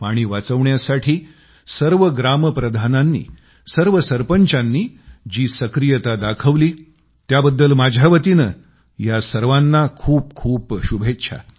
पाणी वाचवण्यासाठी सर्व ग्राम प्रधानांनी सर्व सरपंचांनी जी सक्रियता दाखवली त्याबद्दल माझ्यावतीने या सर्वांना खूपखूप शुभेच्छा